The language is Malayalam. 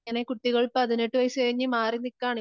ഇങ്ങനെ കുട്ടികൾ പതിനെട്ടു വയസ്സുകഴിഞ്ഞ മാറിനിക്കാണ്